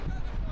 Hara baxırsan?